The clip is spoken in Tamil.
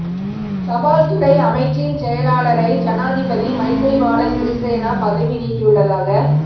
தபால் துறை அமைச்சின் செயலாளரை ஜனாதிபதி மைத்திரிபால சிறிசேன பதவி நீக்கியுள்ளதாக